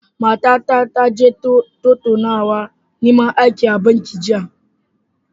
Matata ta je tattaunawar neman aiki a banki jiya.